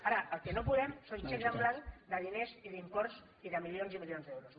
ara el que no podem són xecs en blanc de diners i d’imports i de milions i milions d’euros